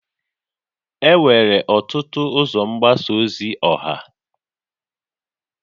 Enwere ọtụtụ ụzọ mgbasa ozi ọha